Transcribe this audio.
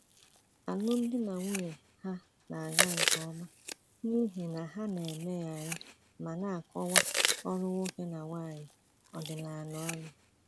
Alụmdi na nwunye ha na-aga nke ọma n’ihi na ha na-emegharị ma na-akọwa ọrụ nwoke na nwanyị ọdịnala ọnụ.